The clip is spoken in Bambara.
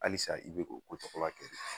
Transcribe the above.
Alisa i be k'o ko tɔgɔla kɛ